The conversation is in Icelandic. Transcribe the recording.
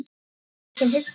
Jóni sem hikstaði við.